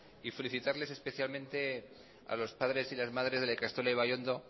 felicitarles especialmente a los padres y las madres de la ikastola ibaiondo